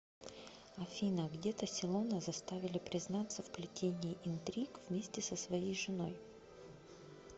афина где тассилона заставили признаться в плетении интриг вместе со своей женой